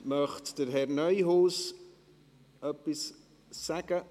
Möchte Herr Neuhaus etwas sagen?